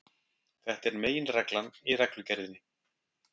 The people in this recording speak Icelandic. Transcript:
Þetta er meginreglan í reglugerðinni.